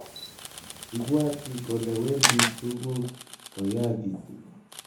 Ibwati kole wendi tuguk koyagitu